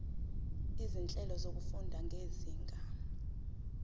izinhlelo zokufunda zezinga